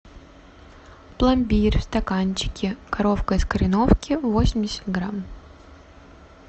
пломбир в стаканчике коровка из кореновки восемьдесят грамм